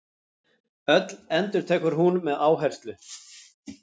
Öll, endurtekur hún með áherslu.